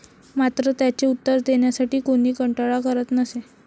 मात्र, त्याचे उत्तर देण्यासाठी कोणीही कंटाळा करत नसे.